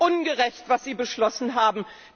Es ist ungerecht, was Sie beschlossen haben.